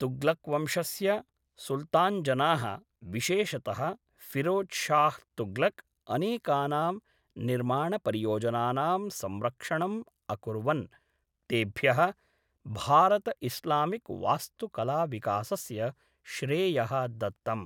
तुग्लक्वंशस्य सुल्तान्जनाः, विशेषतः फिरोज़ शाह् तुग्लक्, अनेकानां निर्माणपरियोजनानां संरक्षणम् अकुर्वन्, तेभ्यः भारत इस्लामिक् वास्तुकलाविकासस्य श्रेयः दत्तम्।